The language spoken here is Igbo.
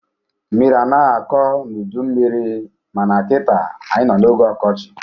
Mmiri anaghị akọ n'udu mmiri ma na kita, anyị nọ n'oge ọkọchị